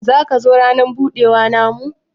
zaka zo ranan budewa na mu?